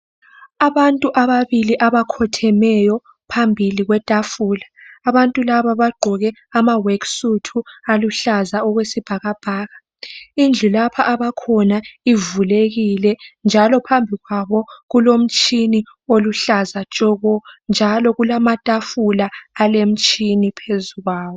Abantu ababili abakhothemeyo phambili kwetafula. Abantu laba bagqoke amaworksuit aluhlaza okwesibhakabhaka . Indlu lapha abakhona ivulekile njalo phambi kwabo kulomtshini oluhlaza tshoko njalo kulamatafula alemtshini phezulu kwawo.